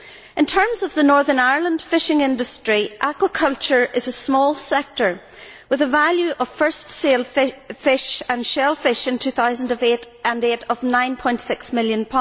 In terms of the Northern Ireland fishing industry, aquaculture is a small sector with a value of first sale fish and shellfish in 2008 of GBP 9.6 million.